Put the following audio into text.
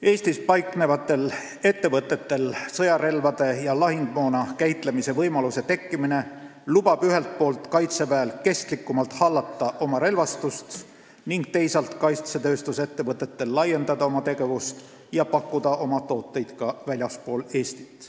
Eestis paiknevatele ettevõtetele sõjarelvade ja lahingumoona käitlemise võimaluse andmine lubab ühelt poolt Kaitseväel kestlikumalt hallata oma relvastust ning teisalt kaitsetööstusettevõtetel laiendada oma tegevust ja pakkuda oma tooteid ka väljaspool Eestit.